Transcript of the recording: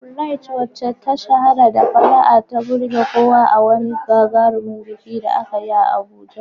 Bright, wacce ta shahara da fara'a, ta burge kowa a wani gagarumin biki da aka yi a Abuja.